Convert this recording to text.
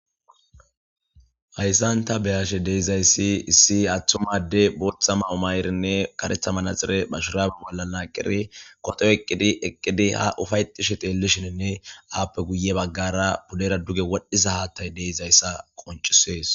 hayssan ta beyashe deizayssi issi attumade booththa ma umayrinne karetha manaxire bashuraabe bolla naaqqiri koto eqqidi eqqidi ha ufaytishe teellishininne aappe guye baggara pudera duge wodhdhiza haattay deizayssa qoncisees